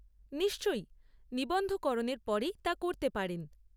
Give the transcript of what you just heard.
নিশ্চয়ই, নিবন্ধকরণের পরেই তা করতে পারেন।